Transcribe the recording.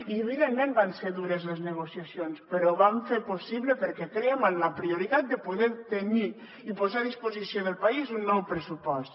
i evidentment que van ser dures les negociacions però ho vam fer el possible perquè crèiem en la prioritat de poder tenir i posar a disposició del país un nou pressupost